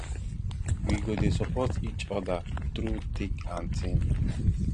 we go dey support each oda through thick and thin